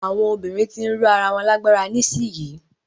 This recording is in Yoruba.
Àwọn obìnrin ti ń ró ara wọn lágbára nísìyí.